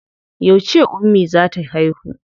Yauce ummi za ta haihu?